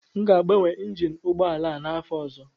M ga-agbanwe Injin ụgbọ ala a n'afọ ọzọ